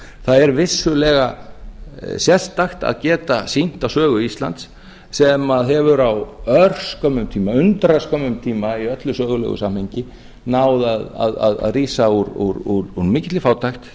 það er vissulega sérstakt að geta sýnt þá sögu íslands sem hefur á örskömmum tíma undraskömmum tíma í öllu sögulegu samhengi náð að rísa úr mikilli fátækt